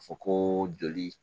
Fɔ ko joli